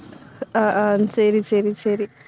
ஆஹ் ஹம் சரி, சரி, சரி